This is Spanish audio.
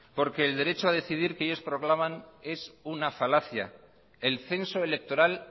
el derecho a decidir que ellos proclaman es una falacia el censo electoral